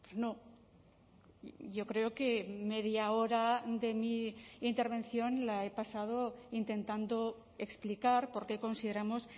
no yo creo que media hora de mi intervención la he pasado intentando explicar por qué consideramos